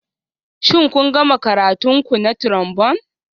Shin kun gama karatun ku na Trombone?